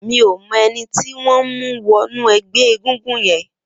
Mi ó mọ ẹni tiwọn n mú wọ̀nú ẹgbẹ égúngún yèn